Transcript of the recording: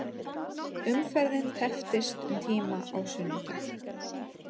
Umferðin tepptist um tíma á sunnudag